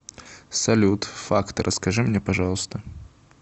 салют факты расскажи мне пожалуйста